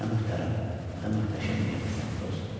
Nə möhtərəm, nə möhtəşəm yerdəsən, dost.